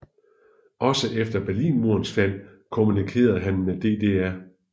Også efter Berlinmurens fald kommunikerede han med DDR